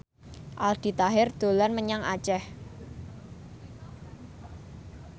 Aldi Taher dolan menyang Aceh